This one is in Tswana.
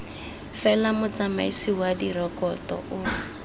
fela motsamaisi wa direkoto o